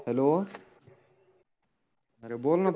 Hello आरे बोल ना.